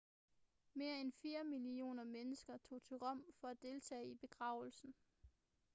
mere end fire millioner mennesker tog til rom for at deltage i begravelsen